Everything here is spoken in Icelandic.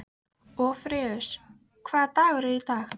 Orfeus, hvaða dagur er í dag?